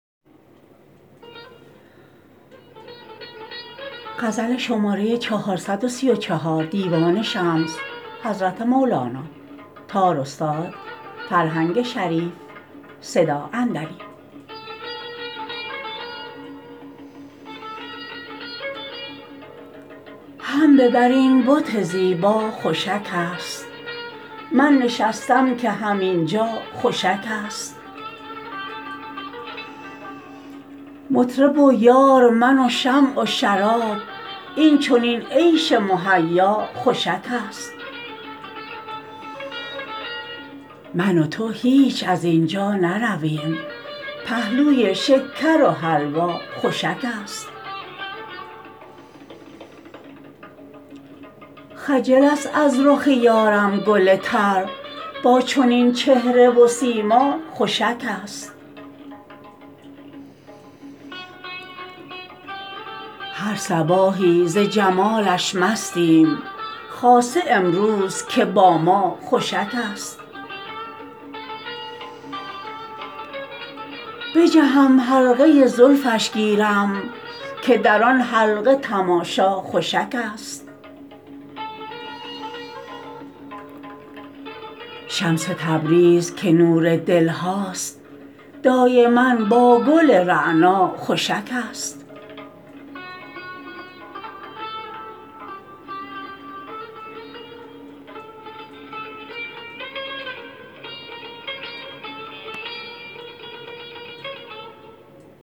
هم به بر این بت زیبا خوشکست من نشستم که همین جا خوشکست مطرب و یار من و شمع و شراب این چنین عیش مهیا خوشکست من و تو هیچ از این جا نرویم پهلوی شکر و حلوا خوشکست خجل است از رخ یارم گل تر با چنین چهره و سیما خوشکست هر صباحی ز جمالش مستیم خاصه امروز که با ما خوشکست بجهم حلقه زلفش گیرم که در آن حلقه تماشا خوشکست شمس تبریز که نور دل هاست دایما با گل رعنا خوشکست